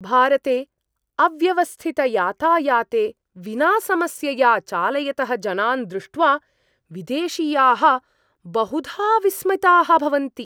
भारते अव्यवस्थितयातायाते विना समस्यया चालयतः जनान् दृष्ट्वा विदेशीयाः बहुधा विस्मिताः भवन्ति।